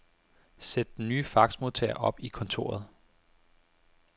Sæt den nye faxmodtager op i kontoret.